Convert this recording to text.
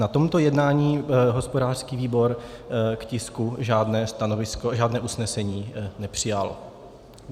Na tomto jednání hospodářský výbor k tisku žádné usnesení nepřijal.